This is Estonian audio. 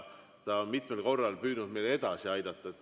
Ta on mitmel korral püüdnud meid edasi aidata.